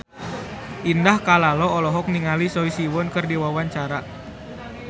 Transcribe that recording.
Indah Kalalo olohok ningali Choi Siwon keur diwawancara